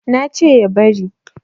na ce ya bari